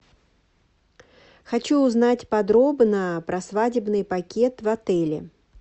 хочу узнать подробно про свадебный пакет в отеле